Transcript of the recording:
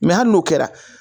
Mɛ hali n'o kɛra